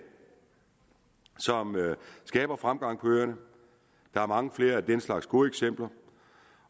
som skaber fremgang på øerne der er mange flere af den slags gode eksempler